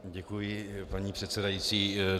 Děkuji, paní předsedající.